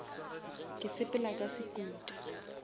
ke sepela ka sekuta